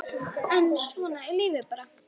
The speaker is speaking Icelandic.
En svona er lífið bara.